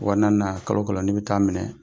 Wa naani na kalo o kalo ni n bi taa minɛ,